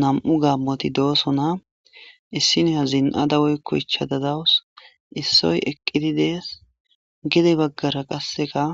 nam7u gammoti dooso na issine ha zin7a dawoy koycha dadawus issoy eqqidi dees gidey baggara qasseka